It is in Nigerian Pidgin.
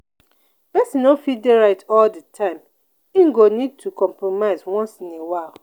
person no fit dey right all di time im go need to compromise once in a while